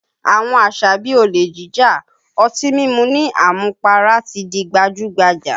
Àwọn àṣà bí i olè jíjà, ọtí mímu ní àmupara ti di gbajú-gbajà